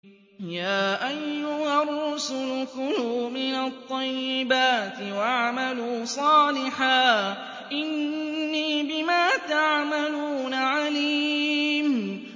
يَا أَيُّهَا الرُّسُلُ كُلُوا مِنَ الطَّيِّبَاتِ وَاعْمَلُوا صَالِحًا ۖ إِنِّي بِمَا تَعْمَلُونَ عَلِيمٌ